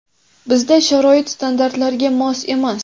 Bizda sharoit standartlarga mos emas.